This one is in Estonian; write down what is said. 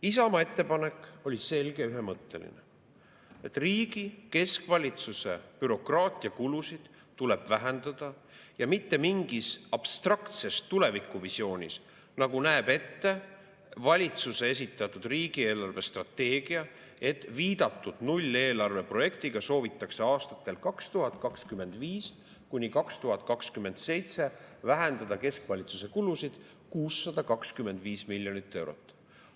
Isamaa ettepanek oli selge ja ühemõtteline: riigi keskvalitsuse bürokraatiakulusid tuleb vähendada, ja mitte mingis abstraktses tulevikuvisioonis, nagu näeb ette valitsuse esitatud riigi eelarvestrateegia, et viidatud nulleelarve projektiga soovitakse aastatel 2025–2027 vähendada keskvalitsuse kulusid 625 miljonit euro võrra.